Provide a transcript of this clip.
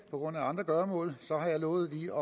på grund af andre gøremål har jeg lovet lige